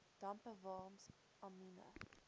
dampe walms amiene